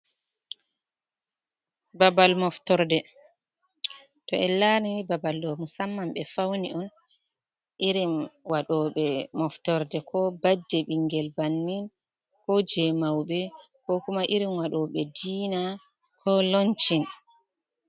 Babal moftorde, to en larini babal ɗo musamman ɓe fauni on irin waɗo ɓe moftorde ko baddey bingel bannin, ko je mauɓe, ko kuma irin waɗo ɓe diina ko lonchin.